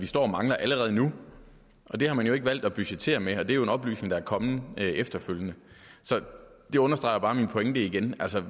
står og mangler allerede nu det har man jo ikke valgt at budgettere med og det er jo en oplysning der er kommet efterfølgende så det understreger bare min pointe igen altså